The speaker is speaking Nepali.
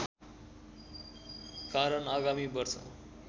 कारण आगामी वर्ष